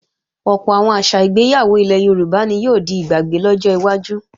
Ọ̀pọ̀ àwọn àṣà ìgbéyàwó ilẹ̀ Yorùbá ni yóò di ìgbàgbé lọ́jọ́ iwájú